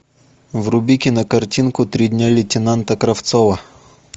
вруби кинокартинку три дня лейтенанта кравцова